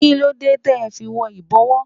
Kí ló dé tẹ fi wọ ibowo?